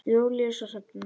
Júlíus og Hrefna.